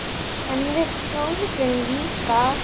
En við þögðum líka.